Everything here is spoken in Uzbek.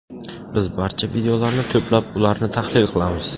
Biz barcha videolarni to‘plab, ularni tahlil qilamiz.